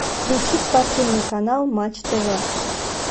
включи спортивный канал матч тв